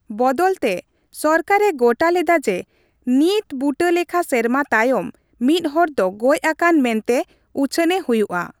ᱵᱚᱫᱚᱞ ᱛᱮ, ᱥᱚᱨᱠᱟᱨᱮ ᱜᱚᱴᱟ ᱞᱮᱫᱟ ᱡᱮ ᱱᱤᱴᱵᱩᱴᱟᱹ ᱞᱮᱠᱷᱟ ᱥᱮᱨᱢᱟ ᱛᱟᱭᱚᱢ, ᱢᱤᱫᱦᱚᱲ ᱫᱚ ᱜᱚᱡ ᱟᱠᱟᱱ ᱢᱮᱱᱛᱮ ᱩᱪᱷᱟᱹᱱᱮ ᱦᱩᱭᱩᱜᱼᱟ ᱾